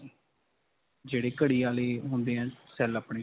ਜਿਹੜੇ ਘੜੀ ਵਾਲੇ ਹੁੰਦੇ ਹੈ cell ਆਪਣੇ.